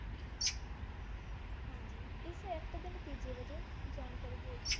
ਹਾਂਜੀ ਇਸ act ਦੇ ਨਤੀਜ਼ੇ ਵੱਜੋਂ ਜਾਣਕਾਰੀ ਦੀਓ ਜੀ